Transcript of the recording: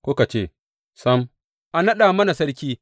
Kuka ce, Sam, a naɗa mana sarki.’